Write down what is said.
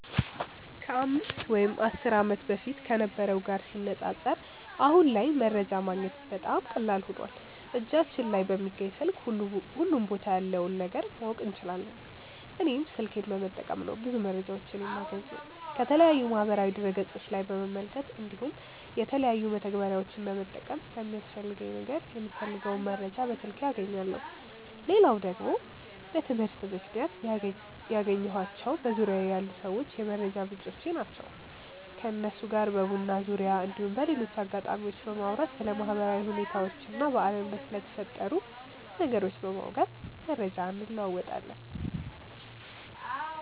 ከ 5 ወይም 10 ዓመት በፊት ከነበረው ጋር ሲነጻጸር አሁን ላይ መረጃ ማግኘት በጣም ቀላል ሆኖዋል እጃችን ላይ በሚገኝ ስልክ ሁሉም ቦታ ያለውን ነገር ማወቅ እንችላለን። እኔም ስልኬን በመጠቀም ነው ብዙ መረጃዎችን የማገኘው። ከተለያዩ የማህበራዊ ድረ ገፆች ላይ በመመልከት እንዲሁም የተለያዩ መተግበሪያዎችን በመጠቀም ለሚያስፈልገኝ ነገር የምፈልገውን መረጃ በስልኬ አገኛለው። ሌላው ደግሞ በትምህርት ምክንያት ያገኘኳቸው በዙርያዬ ያሉ ሰዎች የመረጃ ምንጮቼ ናቸው። ከነሱ ጋር በቡና ዙርያ እንዲሁም በሌሎች አጋጣሚዎች በማውራት ስለ ማህበራዊ ሁኔታዎች እና በአለም ላይ ስለተፈጠሩ ነገሮች በማውጋት መረጃ እንለወጣለን።